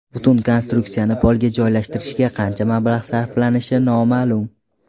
Butun konstruksiyani polga joylashtirishga qancha mablag‘ sarflanishi noma’lum.